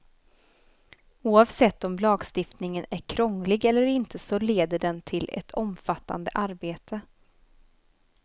Oavsett om lagstiftningen är krånglig eller inte så leder den till ett omfattande arbete.